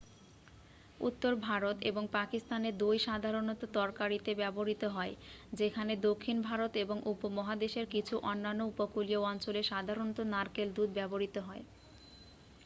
উত্তর ভারত এবং পাকিস্তানে দই সাধারণত তরকারিতে ব্যবহৃত হয় যেখানে দক্ষিণ ভারত এবং উপমহাদেশের কিছু অন্যান্য উপকূলীয় অঞ্চলে সাধারণত নারকেল দুধ ব্যবহৃত হয়